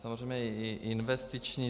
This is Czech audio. Samozřejmě i investiční.